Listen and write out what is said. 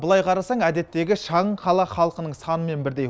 былай қарасаң әдеттегі шағын қала халқының санымен бірдей